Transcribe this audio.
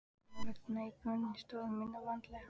Hennar vegna ígrundaði ég stöðu mína vandlega.